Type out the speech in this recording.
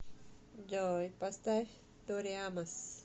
джой поставь тори амос